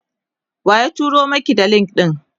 waye turo Maki da link ɗin?